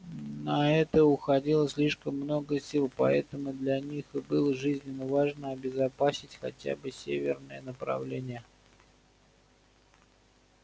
на это уходило слишком много сил поэтому для них и было жизненно важно обезопасить хотя бы северное направление